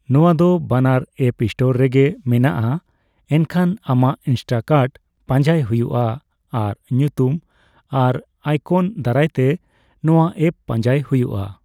ᱱᱚᱣᱟ ᱫᱚ ᱵᱟᱱᱟᱨ ᱮᱯᱯ ᱥᱴᱳᱨ ᱨᱮᱜᱮ ᱢᱮᱱᱟᱜᱼᱟ, ᱮᱱᱠᱷᱟᱱ ᱟᱢᱟᱜ ''ᱤᱱᱥᱴᱟᱠᱟᱨᱴ'' ᱯᱟᱸᱡᱟᱭ ᱦᱩᱭᱩᱜᱼᱟ ᱟᱨ ᱧᱩᱛᱩᱢ ᱟᱨ ᱟᱭᱠᱚᱱ ᱫᱟᱨᱟᱭ ᱛᱮ ᱱᱚᱣᱟ ᱮᱯᱯ ᱯᱟᱸᱡᱟᱭ ᱦᱩᱭᱩᱜᱼᱟ ᱾